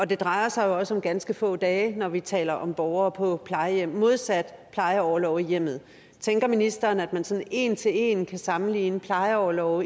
det drejer sig også om ganske få dage når vi taler om borgere på plejehjem modsat plejeorlov i hjemmet tænker ministeren at man sådan en til en kan sammenligne plejeorlov